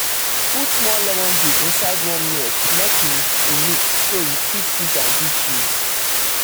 put small lemon juice inside warm milk make e mix so you fit use am do cheese